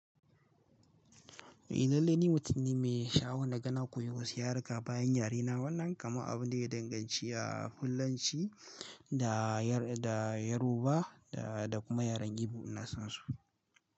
Eh lallai ni mutum ne mai sha'awa na ga na koyi wasu yaruka bayan yare na wannan kama abu ne daya danganci fullanci da Yar- da Yoruba da, da kuma yaren Igbo ina san su.